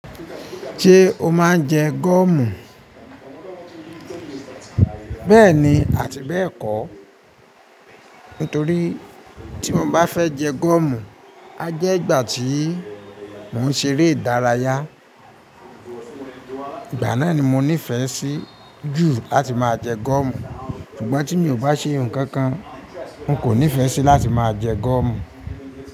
Ṣe o máa ń jẹ goọ̀mù? Bẹẹni àti bẹ́ẹ̀ kọ̀, nítorí tí mo bá fẹ́ jẹ goọ̀mù, a jẹ́ ìgbà tí mò ń ṣe eré ìdárayá, ìgbà náà ni mo nífẹẹ sí jù láti máa jẹ goọ̀mù. Ṣùgbọ́n tí mi ò bá ṣe ohun kankan, n kò nífẹẹ sí láti máa jẹ goọ̀mù.